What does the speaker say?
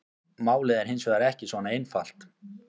Málið er hins vegar ekki svona einfalt.